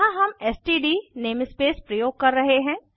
यहाँ हम STD namespace प्रयोग कर रहे हैं